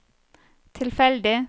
tilfeldig